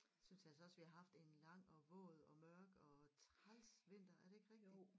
Synes altså også vi har haft en lang og våd og mørk og træls vinter er det ikke rigtigt